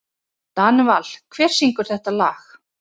Danival, hver syngur þetta lag?